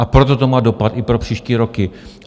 A proto to má dopad i pro příští roky.